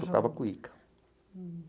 Tocava cuíca.